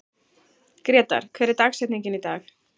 Grétar, hver er dagsetningin í dag?